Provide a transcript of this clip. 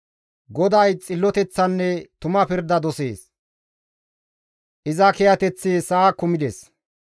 GODAY xilloteththanne tuma pirda dosees; iza kiyateththi sa7a kumides.